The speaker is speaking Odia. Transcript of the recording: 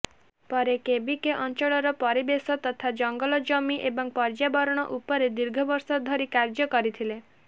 ପରେ କେବିକେ ଅଞ୍ଚଳର ପରିବେଶ ତଥା ଜଙ୍ଗଲ ଜମି ଏବଂ ପର୍ଯ୍ୟାବରଣ ଉପରେ ଦୀର୍ଘବର୍ଷ ଧରି କାର୍ଯ୍ୟ କରିଥିଲେ